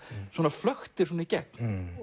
flöktir svona í gegn